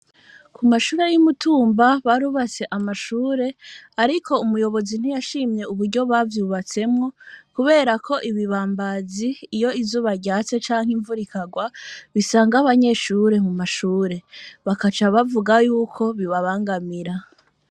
Ku mashure y'i Mutumba barubatse amashure, ariko umuyobozi ntiyashimye uburyo bavyubatsemwo kubera ko ibibambazi, iyo izuba ryatse canke imvura ikagwa bisanga abanyeshure mu mashure; bakaca bavuga y'uko bibabangamira.